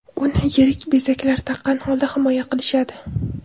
Uni yirik bezaklar taqqan holda himoya qilishadi.